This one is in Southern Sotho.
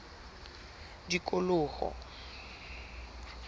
tikoloho